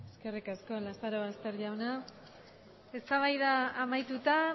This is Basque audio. eskerrik asko lazarobaster jauna eztabaida amaituta